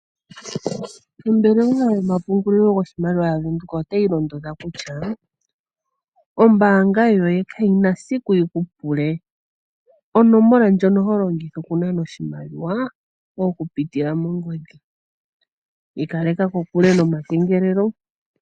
Ombelewa yomapungulilo goshimaliwa yavenduka otayi londodha kutya, ombanga yoye kayina esiku yiku pule onomola yoye ndjoka longitha oku nana oshimaliwa oku pitila mongodhi. Iikaleka ko kule nomakengelelo.